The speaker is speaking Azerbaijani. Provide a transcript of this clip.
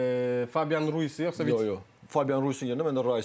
Fabian Ruiz yoxsa Fabian Ruiz yerinə mən də Rice.